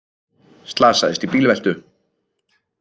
Slasaðist í bílveltu